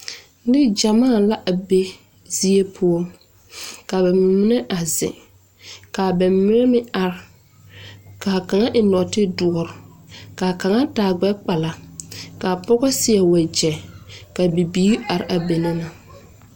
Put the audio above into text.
Neŋgyamaa la be zie poɔ ka ba mine a zeŋ ka ba mine meŋ are ka a kaŋa eŋ nɔɔtedoɔre ka a kaŋa taa gbɛkpala ka a pɔge seɛ wagyɛ kyɛ bibiiri are a be na.